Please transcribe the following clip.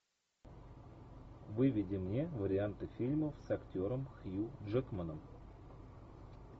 выведи мне варианты фильмов с актером хью джекманом